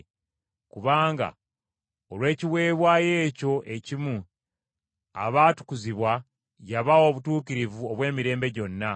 Kubanga olw’ekiweebwayo ekyo ekimu, abaatukuzibwa yabawa obutuukirivu obw’emirembe gyonna.